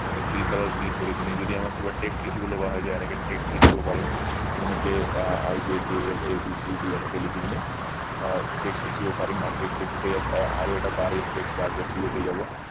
এই feel color কৰি পিনি যদি আমাক কিবা text লিখিব লগা হয় তেতিয়া এনেকে text লিখিব পাৰিম যেনেকে আহ i j k l a b c d এনেকে লিখি পিনে আহ text লিখিব পাৰিম আৰু text লিখোতে ইয়াত আৰু এট bar text bar activate হৈ যাব